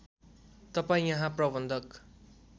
तपाईँ यहाँ प्रबन्धक